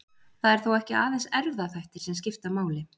Það eru þó ekki aðeins erfðaþættir sem skipta máli.